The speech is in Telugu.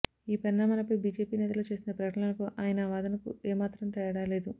ఈ పరిణామాలపై బీజేపీ నేతలు చేస్తున్న ప్రకటనలకు ఆయన వాదనకు ఏ మాత్రం తేడా లేదు